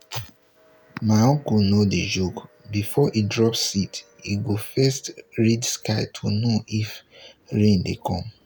my uncle no dey joke before he drop seed he go first read sky to know if rain dey come.